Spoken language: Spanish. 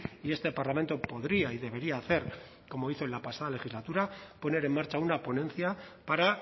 y este parlamento podría y debería hacer como hizo en la pasada legislatura poner en marcha una ponencia para